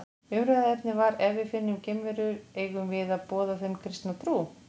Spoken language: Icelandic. Umræðuefnið var Ef við finnum geimverur, eigum við að boða þeim kristna trú?